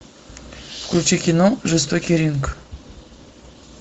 включи кино жестокий ринг